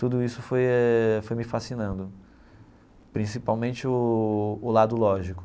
Tudo isso foi eh foi me fascinando, principalmente o o lado lógico.